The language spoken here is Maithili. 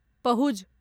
पहुज